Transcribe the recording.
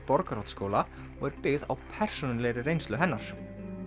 Borgarholtsskóla og er byggð á persónulegri reynslu hennar